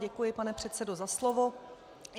Děkuji, pane předsedo, za slovo.